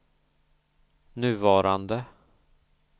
nuvarande